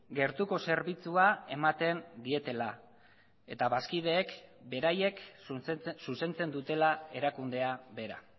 gertuko zerbitzua ematen dietela eta bazkideek beraiek zuzentzen dutela erakundea bera